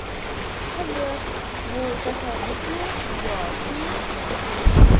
Qiziq, bu tasodifmi yoki...?